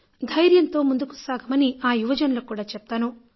ధైర్యంతో ముందుకు సాగమని ఆ యువజనులకు కూడా చెప్తాను